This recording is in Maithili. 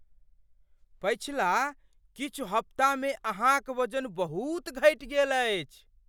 पछिला किछु हप्ता मे अहाँक वजन बहुत घटि गेल अछि ।